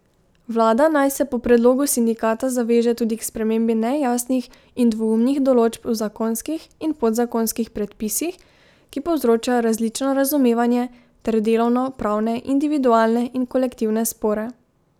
Vlada naj se po predlogu sindikata zaveže tudi k spremembi nejasnih in dvoumnih določb v zakonskih in podzakonskih predpisih, ki povzročajo različno razumevanje ter delovno pravne individualne in kolektivne spore.